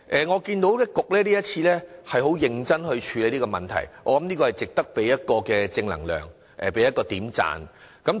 我看到局方今次很認真處理這個問題，這是值得給予正能量及點讚的。